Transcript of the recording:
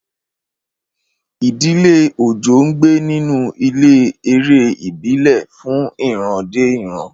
Ìdílé Ojo ń gbé nínú ilé ẹ̀rẹ̀ ìbílẹ̀ fún ìran dé ìran.